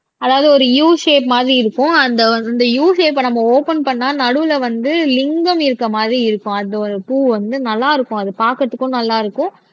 அதாவது ஒரு U shape மாதிரி இருக்கும் அந்த அந்த யூ ஷேப்ப நம்ம ஒப்பன் பண்ணா நடுவுல வந்து லிங்கம் இருக்கிற மாதிரி இருக்கும் அந்த ஒரு பூ வந்து நல்லா இருக்கும் அது பார்க்கிறதுக்கும் நல்லா இருக்கும்